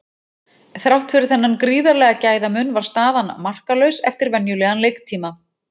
Þrátt fyrir þennan gríðarlega gæðamun var staðan markalaus eftir venjulegan leiktíma.